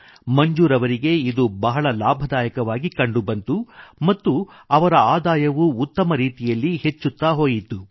ಮಂಜೂರ್ ಅವರಿಗೆ ಇದು ಬಹಳ ಲಾಭದಾಯಕವಾಗಿ ಕಂಡುಬಂತು ಮತ್ತು ಅವರ ಆದಾಯವೂ ಉತ್ತಮ ರೀತಿಯಲ್ಲಿ ಹೆಚ್ಚುತ್ತಾ ಹೋಯಿತು